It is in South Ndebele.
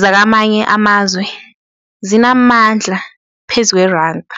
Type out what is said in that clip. zakamanye amazwe zinamandla phezu kweranda.